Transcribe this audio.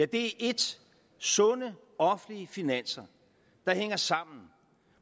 det ene sunde offentlige finanser der hænger sammen